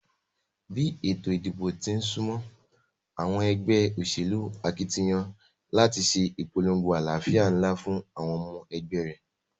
Bí ètò ìdìbò tín súmó, àwon egbé òsèlú akitiyan láti sé ìpolongo alálàfíà nlá fún àwon omo egbé ré